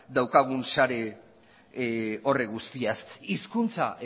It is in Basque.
daukagun sare horretaz guztiaz hizkuntza